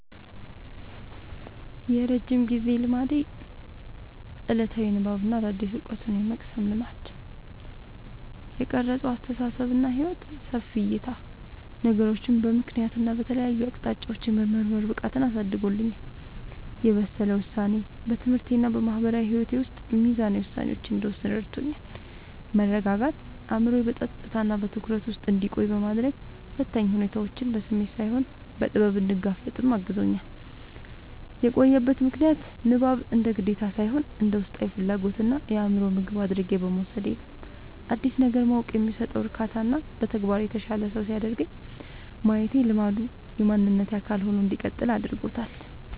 የረጅም ጊዜ ልማዴ፦ ዕለታዊ የንባብና አዳዲስ ዕውቀቶችን የመቅሰም ልማድ። የቀረጸው አስተሳሰብና ሕይወት፦ ሰፊ ዕይታ፦ ነገሮችን በምክንያትና በተለያዩ አቅጣጫዎች የመመርመር ብቃትን አሳድጎልኛል። የበሰለ ውሳኔ፦ በትምህርቴና በማህበራዊ ሕይወቴ ውስጥ ሚዛናዊ ውሳኔዎችን እንድወስን ረድቶኛል። መረጋጋት፦ አእምሮዬ በጸጥታና በትኩረት ውስጥ እንዲቆይ በማድረግ፣ ፈታኝ ሁኔታዎችን በስሜት ሳይሆን በጥበብ እንድጋፈጥ አግዞኛል። የቆየበት ምክንያት፦ ንባብን እንደ ግዴታ ሳይሆን እንደ ውስጣዊ ፍላጎትና የአእምሮ ምግብ አድርጌ በመውሰዴ ነው። አዲስ ነገር ማወቅ የሚሰጠው እርካታና በተግባር የተሻለ ሰው ሲያደርገኝ ማየቴ ልማዱ የማንነቴ አካል ሆኖ እንዲቀጥል አድርጎታል።